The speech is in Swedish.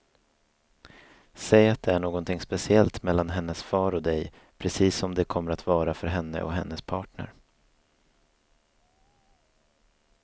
Säg att det är någonting speciellt mellan hennes far och dig, precis som det kommer att vara för henne och hennes partner.